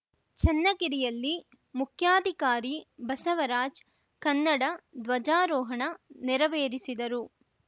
ಚನ್ನಗಿರಿಯಲ್ಲಿ ಮುಖ್ಯಾಧಿಕಾರಿ ಬಸವರಾಜ್‌ ಕನ್ನಡ ಧ್ವಜಾರೋಹಣ ನೆರವೇರಿಸಿದರು